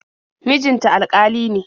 Mijin ta alƙali ne.